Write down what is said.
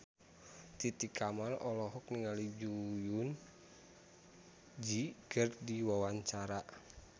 Titi Kamal olohok ningali Jong Eun Ji keur diwawancara